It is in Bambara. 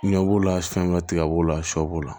Ɲɛ b'o la fɛn bɛ tigɛ b'o la shɛ b'o la